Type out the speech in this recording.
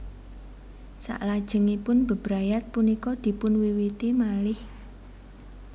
Salajengipun bebrayat punika dipunwiwiti malih